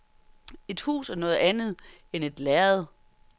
Et hus er noget andet end et lærred.